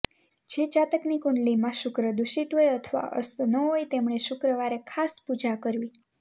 જે જાતકની કુંડલીમાં શુક્ર દૂષિત હોય અથવા અસ્તનો હોય તેમણે શુક્રવારે ખાસ પૂજા કરવી